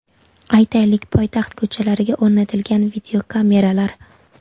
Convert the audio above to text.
Aytaylik, poytaxt ko‘chalariga o‘rnatilgan videokameralar.